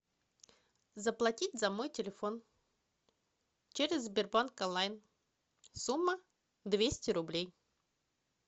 заплатить за мой телефон через сбербанк онлайн сумма двести рублей